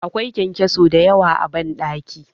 Akwai ƙyanƙyaso da yawa a banɗakin